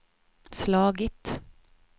slagit